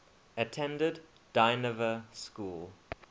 attended dynevor school